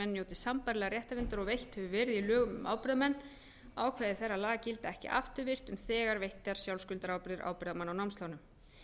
sambærilegrar réttarverndar og veitt hefur verið í lögum um ábyrgðarmenn ákvæði þeirra laga gilda ekki afturvirkt um þegar veittar sjálfskuldarábyrgðir ábyrgðarmanna á námslánum